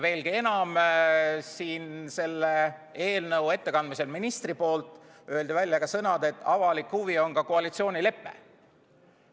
Veelgi enam, siin selle eelnõu ettekandmisel ütles minister välja sõnad, et avalik huvi on ka koalitsioonilepe.